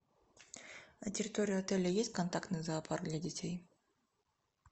на территории отеля есть контактный зоопарк для детей